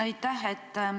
Aitäh!